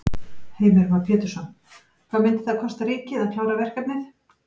Heimir Már Pétursson: Hvað myndi það kosta ríkið að klára verkefnið?